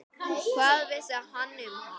Hvað vissi hann um hana?